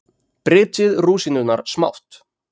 Brytjið rúsínurnar smátt.